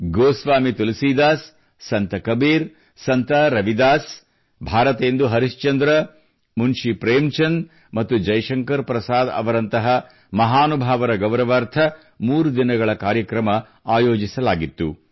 Goswami Tulsidas Sant Kabir Sant Ravidas Bharatendu Harishchandra Munshi Premchand ಮತ್ತು ಜೈಶಂಕರ್ ಪ್ರಸಾದ್ ರಂತಹ ಮಹಾನುಭಾವರ ಗೌರವಾರ್ಥ 3 ದಿನಗಳ ಕಾರ್ಯಕ್ರಮ ಆಯೋಜಿಸಲಾಗಿತ್ತು